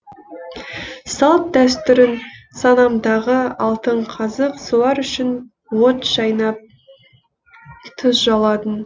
салт дәстүрің санамдағы алтын қазық солар үшін от шайнап тұз жаладың